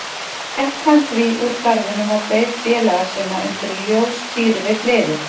Gekk hann því úr garðinum og beið félaga sinna undir ljóstíru við hliðið.